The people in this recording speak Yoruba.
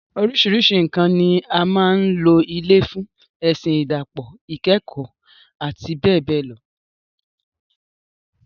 Oríṣiríṣi nǹkan ni a máa ń lò ilé fún - ẹ̀sìn, ìdàpọ̀, ikekoo, àti bẹ́ẹ̀ bẹ́ẹ̀ lọ.